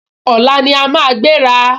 Ọ̀la ní a máa gbéra